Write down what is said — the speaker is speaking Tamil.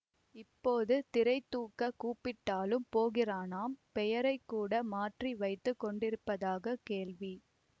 இப்போது திரை தூக்கக் கூப்பிட்டாலும் போகிறானாம் பெயரை கூட மாற்றி வைத்து கொண்டிருப்பதாக கேள்வி